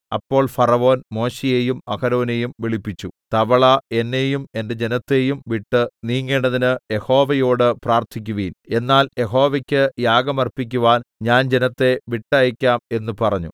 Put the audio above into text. അപ്പോൾ ഫറവോൻ മോശെയെയും അഹരോനെയും വിളിപ്പിച്ചു തവള എന്നെയും എന്റെ ജനത്തെയും വിട്ട് നീങ്ങേണ്ടതിന് യഹോവയോട് പ്രാർത്ഥിക്കുവിൻ എന്നാൽ യഹോവയ്ക്ക് യാഗം അർപ്പിക്കുവാൻ ഞാൻ ജനത്തെ വിട്ടയയ്ക്കാം എന്ന് പറഞ്ഞു